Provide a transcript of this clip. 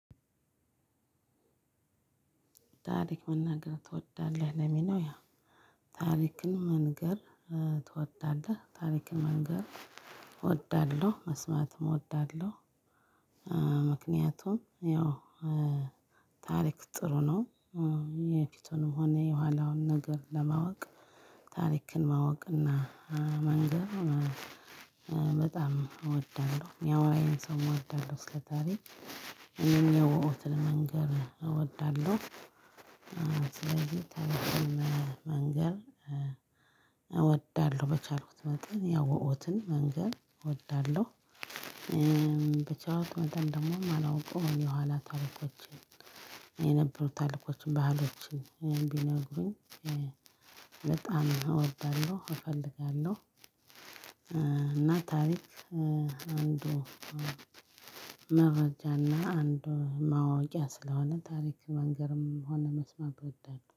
ታሪክ መናገር ትወዳለህ ለሚለው ያ ታሪክን መንገር ትወዳለህ ታሪክን መንገር እወዳለሁ መስማትም እወዳለሁ። ምክንያቱም ያው ታሪክ ጥሩ ነው። የፍቱንም ሆነ የኋላውን ነገር ለማወቅ ታሪክን ማወቅ እና መንገር በጣም እወዳለሁ። ያው የሚያወረኝንም ሰው እወዳለሁ እስከ ታሪክ እኔም የው ለመንገር እወዳለሁ። ስለዚህ ተሪክም መንገር እወዳለሁ በቻልኩት መጠን ያወቁትን መንገር እወዳለሁ። በቻልኩት መጠን ደግሞ የምላውቀው የኋላ ታሪኮችን የነበሩ ታሪኮችን ባህሎችን ቢነግሩኝ በጣም እወዳለሁ እፈልጋለሁ። እና ታሪክ አንዱ መረጃ እና አንዱ ማወቂያ ስለሆነ ታሪክ መንገርም ሆነ መስማት እወዳለው